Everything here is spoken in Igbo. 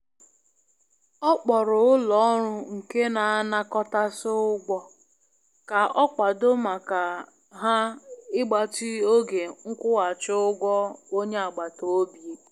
Ọ gwara onye a na akwụ ụgwọ ego na enyi ya chọrọ obere oge iji nweta kaadị ya.